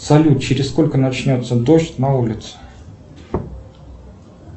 салют через сколько начнется дождь на улице